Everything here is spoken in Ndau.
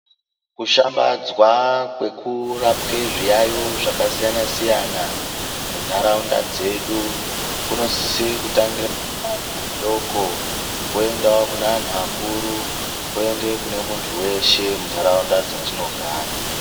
Kushambadzwa kwekurapwe zviyaiyo zvakasiyana siyana munharaunda dzedu kunosise kutangira pazera doko, kwoendawo kune vanhu vakuru kwoende kunemunhu weshe munharaunda dzatinogara.